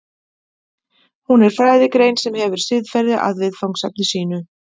Hún er fræðigrein sem hefur siðferði að viðfangsefni sínu.